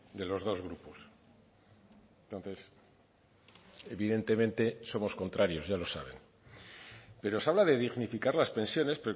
de los dos grupos entonces evidentemente somos contrarios ya lo saben pero se habla de dignificar las pensiones